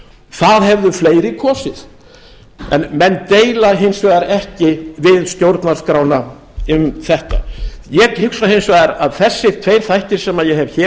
það hefðu fleiri kosið en menn deila hins vegar ekki við stjórnarskrána um þetta ég hugsa hins vegar að þessir tveir þættir sem ég hef hér